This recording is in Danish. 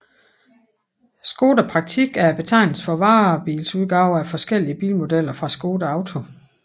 Škoda Praktik er betegnelsen for varebilsudgaver af forskellige bilmodeller fra Škoda Auto